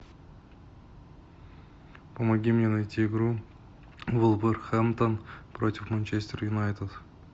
помоги мне найти игру вулверхэмптон против манчестер юнайтед